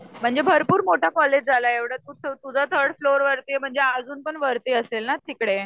म्हणजे भरपूर मोठं कॉलेज आलं एवढं तू तुझं थर्ड फ्लोअर वरती आहे म्हणजे अजून पण वरती असेल ना तिकडे